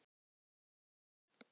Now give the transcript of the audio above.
Eyjabakka